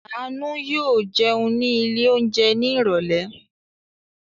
Àánú yóò jẹun ní ilé-oúnjẹ ní ìrọ́lẹ́!